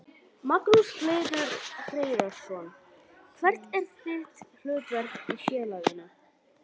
Magnús Hlynur Hreiðarsson: Hvert er þitt hlutverk í félaginu?